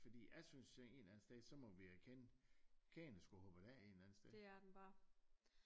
Fordi jeg synes at en eller anden sted så må vi erkende kæden er sgu hoppet af en eller anden sted